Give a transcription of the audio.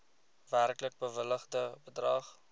werklik bewilligde bedrag